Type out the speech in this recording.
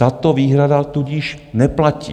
Tato výhrada tudíž neplatí.